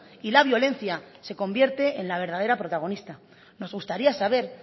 y la violencia se convierte en la verdadera protagonista nos gustaría saber